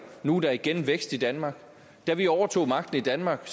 nu er der igen vækst i danmark da vi overtog magten i danmark